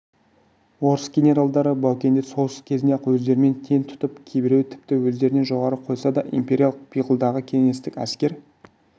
орыс генералдары баукеңді соғыс кезінде-ақ өздерімен тең тұтып кейбіреуі тіпті өздерінен жоғары қойса да империялық пиғылдағы кеңестік әскер